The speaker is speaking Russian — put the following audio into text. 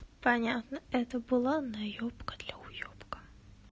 понятно это была наёбка для уёбка